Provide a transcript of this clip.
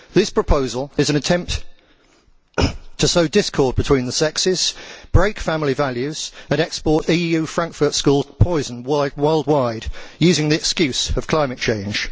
This proposal is an attempt to sow discord between the sexes, break family values and export EU Frankfurt School poison worldwide, using the excuse of climate change.